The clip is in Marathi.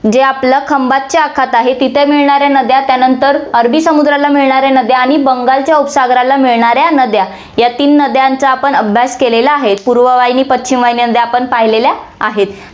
जे आपल्याला खंभातच्या आखात आहे, तिथे मिळणाऱ्या नद्या, त्यानंतर अरबी समुद्राला मिळणाऱ्या नद्या आणि बंगालच्या उपसागराला मिळणाऱ्या नद्या या तीन नद्यांचा आपण अभ्यास केलेला आहे. पूर्व वाहिनी, पश्चिम वाहिनी जे आपण पाहिलेल्या आहेत.